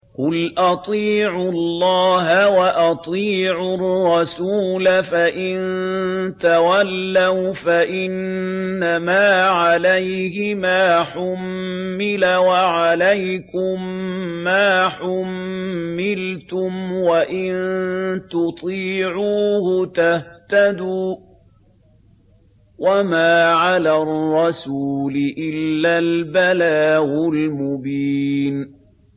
قُلْ أَطِيعُوا اللَّهَ وَأَطِيعُوا الرَّسُولَ ۖ فَإِن تَوَلَّوْا فَإِنَّمَا عَلَيْهِ مَا حُمِّلَ وَعَلَيْكُم مَّا حُمِّلْتُمْ ۖ وَإِن تُطِيعُوهُ تَهْتَدُوا ۚ وَمَا عَلَى الرَّسُولِ إِلَّا الْبَلَاغُ الْمُبِينُ